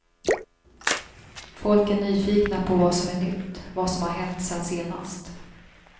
Folk är nyfikna på vad som är nytt, vad som har hänt sen senast.